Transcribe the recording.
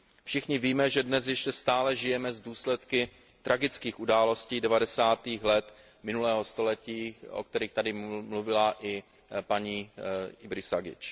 Všichni víme, že dnes ještě stále žijeme s důsledky tragických událostí devadesátých let minulého století, o kterých tady mluvila i paní Ibrisagič.